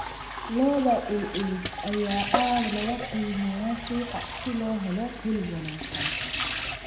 Lo'da culculus ayaa aad loogu qiimeeyaa suuqa si loo helo hilib wanaagsan.